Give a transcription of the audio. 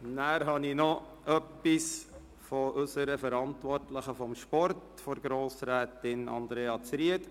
Dann habe ich noch eine Mitteilung unserer Verantwortlichen für den Sport, Grossrätin Andrea Zryd.